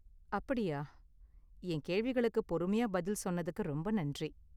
அப்படியா. என் கேள்விகளுக்கு பொறுமையா பதில் சொன்னதுக்கு ரொம்ப நன்றி.